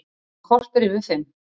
Klukkan korter yfir fimm